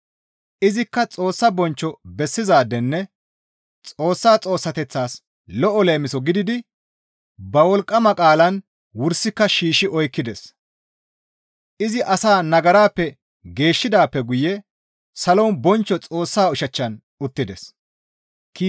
Izikka Xoossa bonchcho bessizaadenne Xoossa Xoossateththaas lo7o leemiso gididi ba wolqqama qaalan wursika shiishshi oykkides; izi asaa nagarappe geeshshidaappe guye salon bonchcho Xoossaa ushachchan uttides.